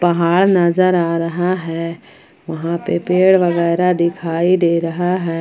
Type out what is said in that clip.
पहाड़ नजर आ रहा है वहां पे पेड़ वगैरा दिखाई दे रहा है।